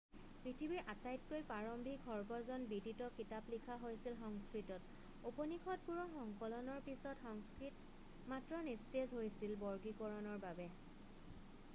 পৃথিৱীৰ আটাইতকৈ প্ৰাৰম্ভিক সৰ্বজন বিদিত কিতাপ লিখা হৈছিল সংস্কৃতত উপনিষদবোৰৰ সংকলনৰ পিছত সংস্কৃত মাত্ৰ নিস্তেজ হৈছিল বৰ্গীকৰণৰ বাবে